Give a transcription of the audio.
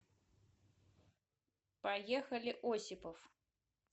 поехали осипов